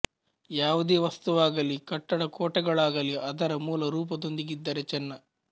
ಯಾವುದೆ ವಸ್ತುವಾಗಲಿ ಕಟ್ಟಡ ಕೋಟೆಗಳಾಗಲಿ ಅದರ ಮೂಲ ರೂಪದೊಂದಿಗಿದ್ದರೆ ಚೆನ್ನ